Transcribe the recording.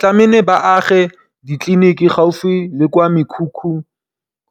Tlameile ba age ditliliniki gaufi le kwa mekhukhung